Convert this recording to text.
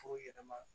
Fogo yɛlɛma